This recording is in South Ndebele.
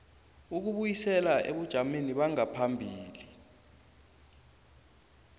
ukubuyisela ebujameni bangaphambilini